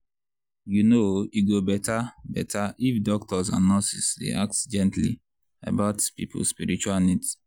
you know e go better better if doctors and nurses dey ask gently about people spiritual needs.